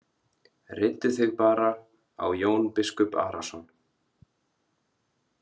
Reiddu þig bara á Jón biskup Arason.